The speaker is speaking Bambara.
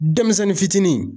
Denmisɛnnin fitinin